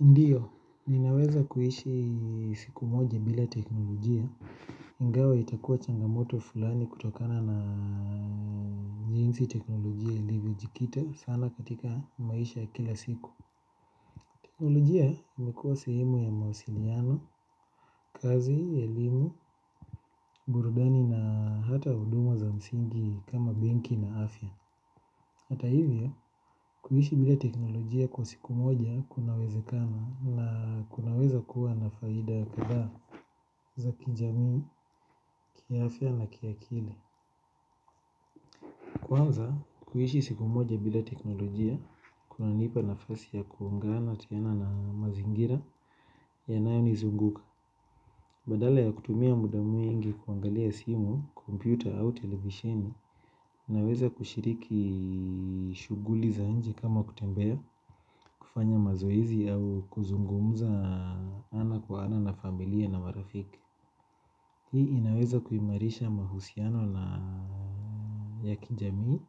Ndiyo, ninaweza kuishi siku moja bila teknolojia ingawa itakuwa changamoto fulani kutokana na jinsi teknolojia ilivyojikita sana katika maisha ya kila siku teknolojia ni kuwa sehemu ya mawasiliano, kazi, elimu, burudani na hata huduma za msingi kama benki na afya. Hata hivyo, kuishi bila teknolojia kwa siku moja kunawezakana na kunaweza kuwa nafaida kadhaa za kijamii, kiafya na kiakili. Kwanza kuishi siku moja bila teknolojia kunanipa nafasi ya kuungana tena na mazingira yanayonizunguka badala ya kutumia muda mwingi kuangalia simu, kompyuta au televisheni naweza kushiriki shughuli za nchi kama kutembea kufanya mazoezi au kuzungumuza ana kwa ana na familia na marafiki. Hii inaweza kuimarisha mahusiano na ya kijamii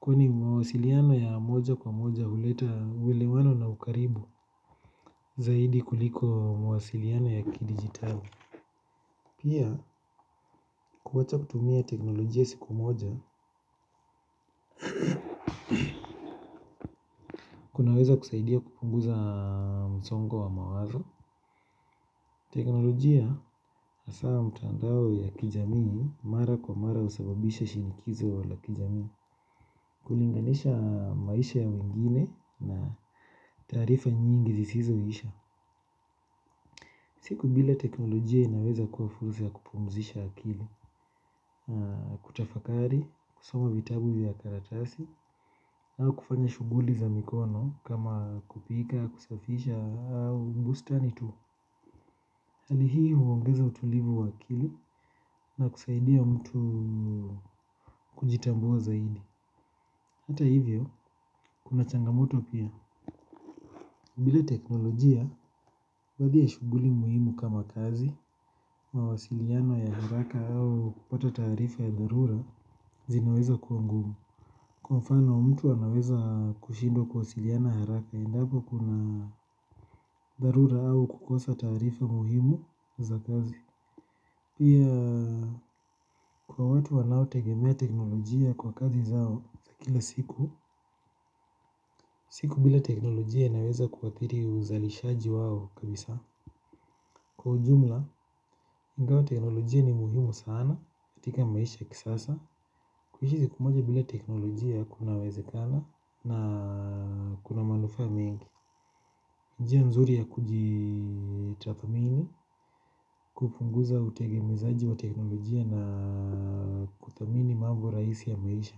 kwani mwasiliano ya moja kwa moja huleta uelewano na ukaribu zaidi kuliko mawasiliano ya kidigitali. Pia kuacha kutumia teknolojia siku moja kunaweza kusaidia kupunguza msongo wa mawazo. Teknolojia hasa mitandao ya kijamii mara kwa mara husababisha shinikizo la kijamii kulinganisha maisha ya wengine na taarifa nyingi zisizoisha. Siku bila teknolojia inaweza kuwa fursa ya kupumzisha akili kutafakari, kusoma vitabu vya karatasi au kufanya shughuli za mikono kama kupika, kusafisha, au bustani tu. Hali hii huongeza utulivu wa akili na kusaidia mtu kujitambua zaidi. Hata hivyo, kuna changamoto pia. Bila teknolojia baadhi shughuli muhimu kama kazi mawasiliano ya haraka au kupata taarifa ya dharura zinaweza kuwa ngumu. Kwa mfano mtu anaweza kushindwa kuwasiliana haraka endapo kuna darura au kukosa tarifa muhimu za kazi pia kwa watu wanao tegemea teknolojia kwa kazi zao za kila siku siku bila teknolojia inaweza kuathiri uzalishaji wao kabisa. Kwa ujumla, ingawa teknolojia ni muhimu sana katika maisha ya kisasa, kuishi siku moja bila teknolojia kunawezekana na kuna manufaa mengi. Njia nzuri ya kujitathmini, kupunguza utegemezaji wa teknolojia na kuthamini mambo rahisi ya maisha.